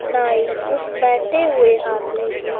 नाई उस बैठे हुए आदमी की--